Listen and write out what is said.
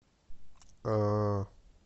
э